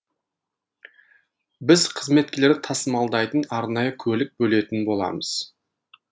біз қызметкерлерді тасымалдайтын арнайы көлік бөлетін боламыз